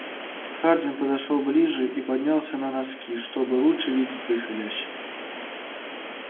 хардин подошёл ближе и поднялся на носки чтобы лучше видеть происходящее